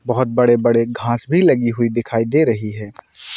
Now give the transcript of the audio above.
बहुत बड़े-बड़े घास भी लगी हुई दिखाई दे रही है।